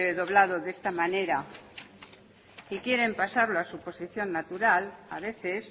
doblado de esta manera y quieren pasarlo a su posición natural a veces